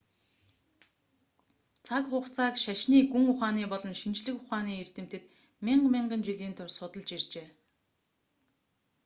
цаг хугацааг шашны гүн ухааны болон шинжлэх ухааны эрдэмтэд мянга мянган жилийн турш судалж иржээ